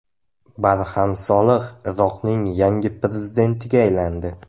Barham Solih Iroqning yangi prezidentiga aylandi.